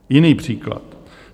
Jiný příklad.